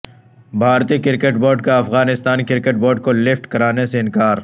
بھارتی cricket board کا Afghanistan cricket board کو لفٹ کرانے سے انکار